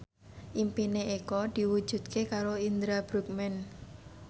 impine Eko diwujudke karo Indra Bruggman